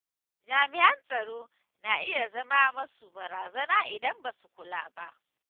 Jami'an tsaro na iya zama masu barazana idan ba su kula ba.